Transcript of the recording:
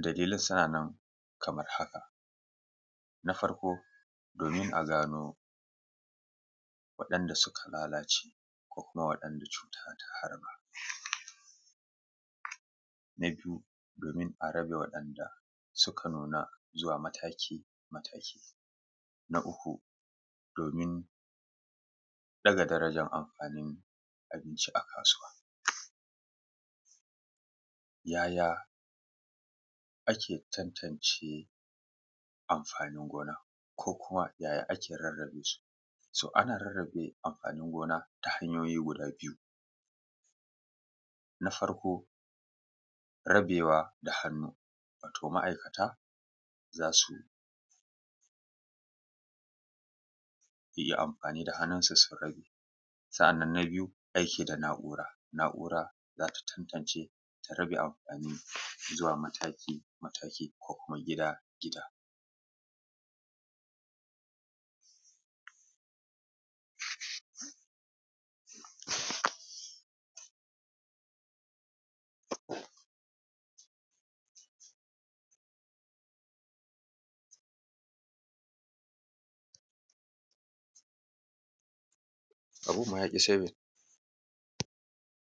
dalilan suna nan kamar haka: na farko domin a gano waɗanda suka fara lalacewa ko kuma waɗanda cuta ta harba, na biyu domin a rabe waɗanda suka nuna zuwa mataki-mataki. Na uku domin daga darajar amfanin abinci a kasuwa. Yaya ake tantance amfani gona ko kuma yaya ake rarrabe su? To ana rarrabe amfani gona ta hanyoyi guda biyua: na farko rabewa da hannu wato ma'aikata za su iya amfani da hannunsu su rabe. Na biyu amfani da na'ura za ta tantace ta rabe mataki-mataki ko kuma gida-gida.